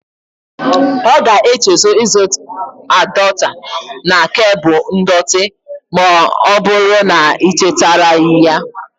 Ọ ga-echezo ịzụts adọota na kebul ndọtị ma ọbụrụ na i chetaraghi ya.